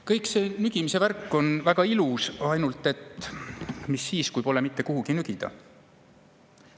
Kõik see nügimise värk on väga ilus, ainult et mis siis, kui pole mitte kuhugi nügida?